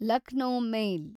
Lucknow ಮೇಲ್